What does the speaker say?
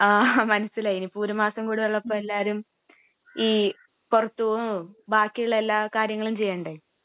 ങാ...മനസിലായി..ഇനിയിപ്പോ ഒരുമാസം കൂടെ ഉള്ളപ്പോ എല്ലാരും...ഈ പുറത്ത് പൊകുവേം..ബാക്കിയുള്ള എല്ലാ കാര്യങ്ങളും ചെയ്യണ്ടേ...